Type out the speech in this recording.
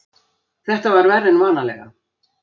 Þetta var verra en vanalega.